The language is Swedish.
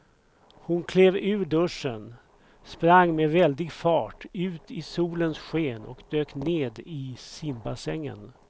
Hon klev ur duschen, sprang med väldig fart ut i solens sken och dök ner i simbassängen.